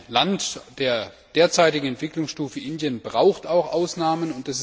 Ein Land der derzeitigen Entwicklungsstufe Indiens braucht auch Ausnahmen.